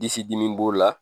Disi dimi b'o la